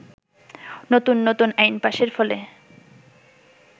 নতুন নতুন আইন পাশের ফলে